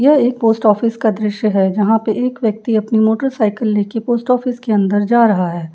यह एक post office का दृश्य है जहाँ पे एक व्यक्ति अपनी मोटरसाइकिल लेके पोस्ट ऑफिस के अंदर जा रहा है।